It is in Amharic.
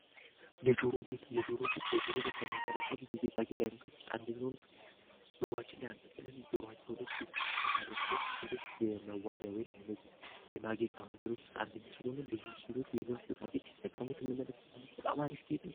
የጆሮ ጌት በጆሮ ላይ ከሚንጠረጠሉ የጌጣ ጌት ዓይነቶች ውስጥ አንደኛሆኑ ጆሮች ላይ አንጠልጥለን ጆሮቸው ላይ ጌት ከሚያደርጉበት የሴቶች የመዋቢያ ወይንም የመጋ የማጌጫ መንገዶች ውስጥ አንደኛው ስለሆነ ብዙ ሴሎች ይህንን ጌጣ ጌጥ ሲጠቀሙት እንመለክት አለት በጣም አሪፍ ቤሄት፡፡